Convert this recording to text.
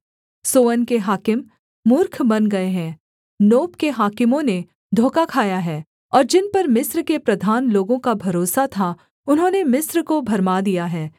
सोअन के हाकिम मूर्ख बन गए हैं नोप के हाकिमों ने धोखा खाया है और जिन पर मिस्र के प्रधान लोगों का भरोसा था उन्होंने मिस्र को भरमा दिया है